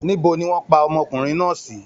Níbo ni wọ́n pa ọmọkùnrin náà sì?